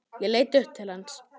Ég leit upp til hans.